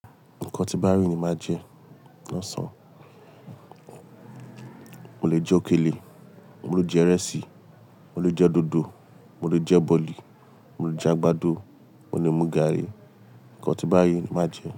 Nǹkan tí Báá rí ní máa jẹ náà sàn. Mo lè jẹ òkèlè, mo lè jẹ ìrẹsì, mo lè jẹ dòdò, mo lè jẹ bọ̀lì, mo lè jẹ àgbàdo, mo lè mú garri. Ǹkan tí Báá rí ní màá jẹ.